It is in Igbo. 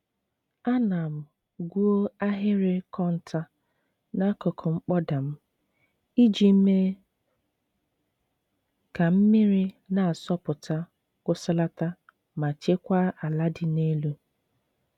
Ana m gwuo ahịrị kọntọ n'akụkụ mkpọda m, iji mee ka mmiri na-asọpụta kwụsịlata ma chekwaa ala dị n'elu.